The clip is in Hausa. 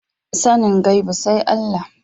Sanin gaibu sai Allah